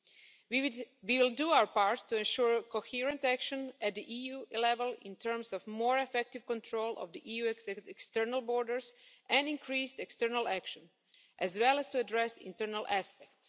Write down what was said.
We will do our part to ensure coherent action at EU level in terms of more effective control of the EU external borders and increased external action, as well as to address internal aspects.